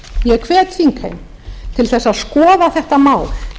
ég hvet þingheim til þess að skoða þetta mál